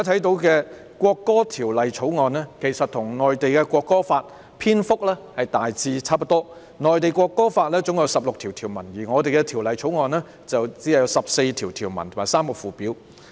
我們現在看到的《條例草案》，其實與《中華人民共和國國歌法》的篇幅大致相若，內地《國歌法》總共有16項條文，而我們的《條例草案》則有14項條文和3個附表。